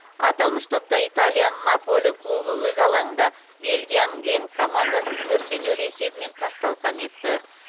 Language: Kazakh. аталмыш топта италияның наполи клубы өз алаңында бельгияның генк командасын төрт те нөл есебімен тас талқан етті